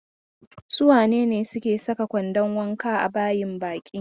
Su wane ne suke saka kwandon wanka a bayin baki?